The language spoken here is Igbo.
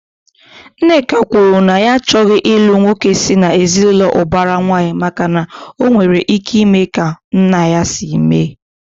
Nneka kwuru na ya achọghị ilu nwoke si na ezinaụlọ ubara nwanyi, maka na ọ nwere ike ime ka nna ya si mee